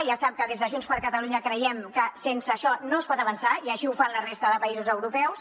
ja sap que des de junts per catalunya creiem que sense això no es pot avançar i així ho fan la resta de països europeus